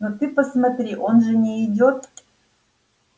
ну ты посмотри он же не идёт